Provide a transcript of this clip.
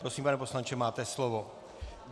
Prosím, pane poslanče, máte slovo.